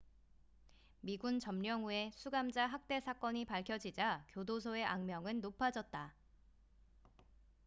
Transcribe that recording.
미군 점령 후에 수감자 학대 사건이 밝혀지자 교도소의 악명은 높아졌다